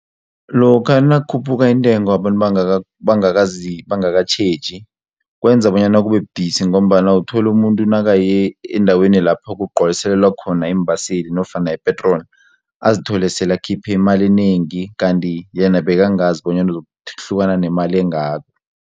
Lokha nakukhuphuka intengo abantu bangakazi bangakatjheji kwenza bonyana kube budisi ngombana uthole umuntu nakaye endaweni lapha kugcwaliselelwa khona iimbaseli nofana ipetroli azithole sele akhiphe imali enengi kanti yena bekangazi bonyana uzokuhlukana nemali engako.